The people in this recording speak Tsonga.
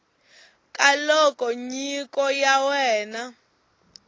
ka loko nyiko ya wena